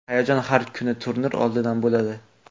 Hayajon har bir turnir oldidan bo‘ladi.